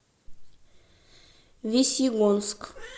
весьегонск